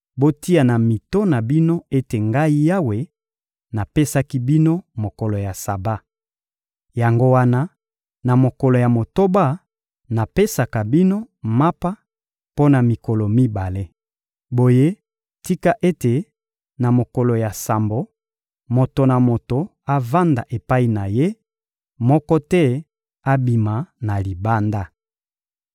Botia na mito na bino ete Ngai Yawe, napesaki bino mokolo ya Saba. Yango wana, na mokolo ya motoba, napesaka bino mapa mpo na mikolo mibale. Boye tika ete, na mokolo ya sambo, moto na moto avanda epai na ye; moko te abima na libanda.